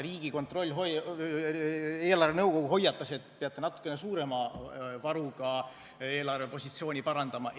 Riigikontroll, eelarvenõukogu hoiatas, et peate natukene suurema varuga eelarvepositsiooni parandama.